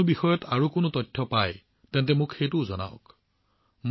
যদি আপোনালোকে আন কোনো বিষয়ে কোনো তথ্য লাভ কৰে তেন্তে মোক সেইটোও জনাওক